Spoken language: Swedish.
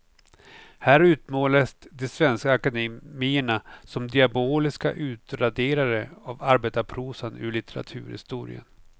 Här utmålades de svenska akademierna som diaboliska utraderare av arbetarprosan ur litteraturhistorien.